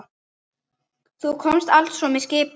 Þú komst altso með skipi?